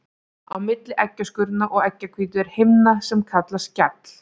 Á milli eggjaskurnar og eggjahvítu er himna sem kallast skjall.